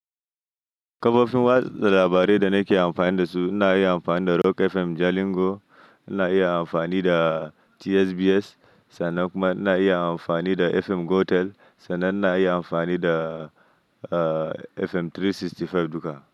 Kafofin watsa labarai da nake amfani da su, ina iya amfani da Rock FM Jalingo, ina iya amfani da TSBS, sannan kuma ina iya amfani da FM Gotel sannan ina iya amfani da, ah, FM 365 duka.